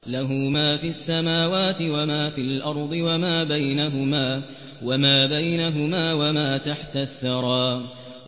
لَهُ مَا فِي السَّمَاوَاتِ وَمَا فِي الْأَرْضِ وَمَا بَيْنَهُمَا وَمَا تَحْتَ الثَّرَىٰ